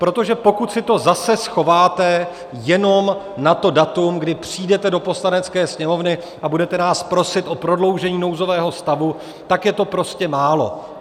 Protože pokud si to zase schováte jenom na to datum, kdy přijdete do Poslanecké sněmovny a budete nás prosit o prodloužení nouzového stavu, tak je to prostě málo.